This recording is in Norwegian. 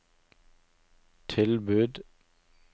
tilbud